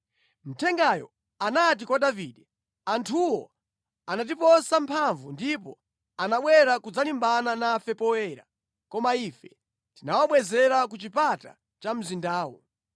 Mthengayo anati kwa Davide, “Anthuwo anatiposa mphamvu ndipo anabwera kudzalimbana nafe poyera, koma ife tinawabwezera ku chipata cha mzindawo.